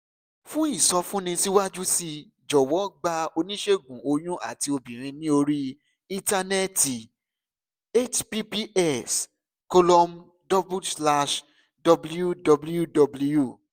fún ìsọfúnni síwájú sí i jọ̀wọ́ gba oníṣègùn oyún àti obìnrin ní orí íńtánẹ́ẹ̀tì https colom slash www